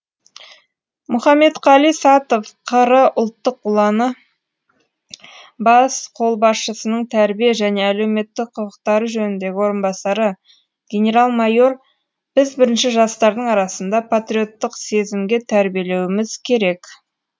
мұхаметқали сатов қр ұлттық ұланы бас қолбасшысының тәрбие және әлеуметтік құқықтары жөніндегі орынбасары генерал майор біз бірінші жастардың арасында патриоттық сезімге тәрбиелеуіміз керек